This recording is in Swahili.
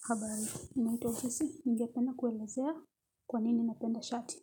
Habari, naitwa uchesi, ningependa kuelezea kwa nini napenda shati.